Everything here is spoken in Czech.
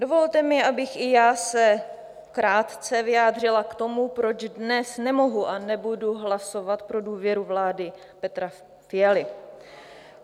Dovolte mi, abych se i já krátce vyjádřila k tomu, proč dnes nemohu a nebudu hlasovat pro důvěru vládě Petra Fialy.